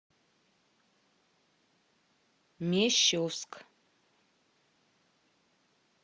мещовск